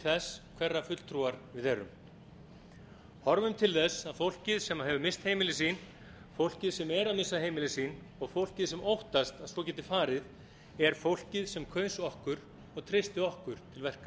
þess hverra fulltrúar við erum horfum til þess að fólkið sem misst hefur heimili sín fólkið sem er að missa heimili sín og fólkið sem óttast að svo geti farið er fólkið sem kaus okkur og treysti okkur til